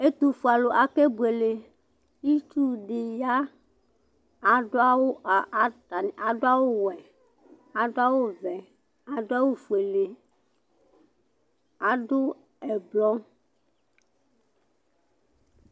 Ɛtʊfʊelʊ akeɓʊele ɩtsʊɗɩƴa aɗʊawʊ ɔwɛ aɗʊawʊ ɔʋɛ aɗʊawʊ ofʊele aɗʊ ɛƙplɔ